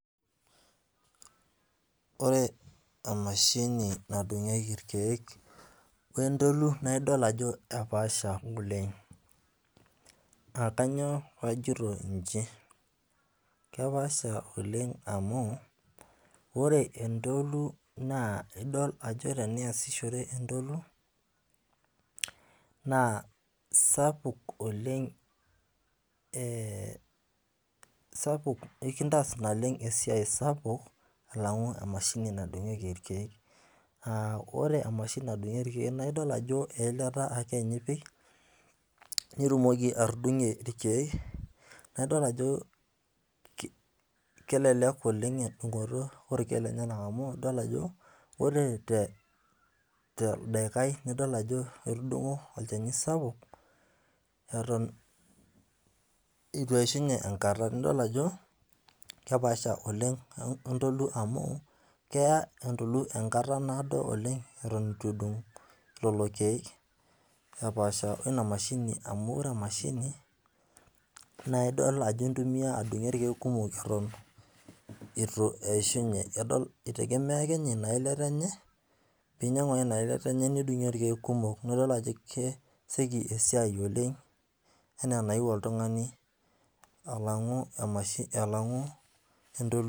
Ore emashini nadungieki irkeek we ntolu, naa idol ajo kepaasha oleng.aa kainyioo pee ajito iji, kepaasha oleng amu, ore entoto idol ajo teniasishore entoto, sapuk naa enintaas naleng esiai sapuk alangu emashini nadungieki irkeek. ore emashini nadungieki irkeek naa idol ajo eilata ipik nitumoki atudungie irkeek, naa idol ajo, kelelek oleng amu idol ajo ore te toldaikai idol ajo itudunguo olchani sapuk, dorop eitu. Eishunye enkata. nidol ajo kepaasha, Oleng wentolu amu ,keya entoki enkata naado oleng, Eton eitu idungu lelo keek. epaasha oina mashini. amu ore Ina mashini ,naa idol ajo intumia adungie irkeek kumok, eitu eishunye. naa idol ajo kesioki esiai oleng. alangu oltungani.